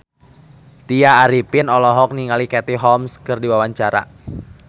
Tya Arifin olohok ningali Katie Holmes keur diwawancara